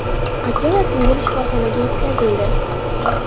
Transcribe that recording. Aka va singil shifoxonaga yetkazildi.